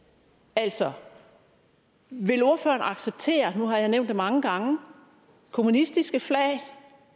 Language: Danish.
altså vil ordføreren acceptere nu har jeg nævnt det mange gange kommunistiske flag